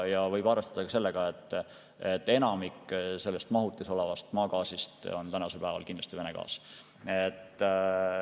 Ja võib arvestada sellega, et enamik selles mahutis olevast maagaasist on tänasel päeval kindlasti Vene gaas.